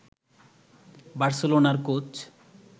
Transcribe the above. বার্সেলোনার কোচ